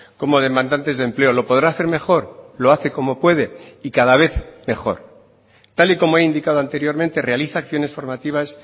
como demandantes de empleo lo podrá hacer mejor lo hace como puede y cada vez mejor tal y como he indicado anteriormente realiza acciones formativas